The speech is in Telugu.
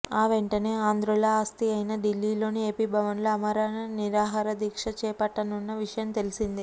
ఆ వెంటనే ఆంధ్రుల ఆస్థి అయిన ఢిల్లీలోని ఏపీ భవన్లో ఆమరణ నిరాహార దీక్ష చేపట్టనున్న విషయం తెలిసిందే